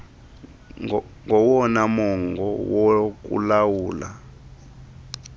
ngowona mongo wokulawula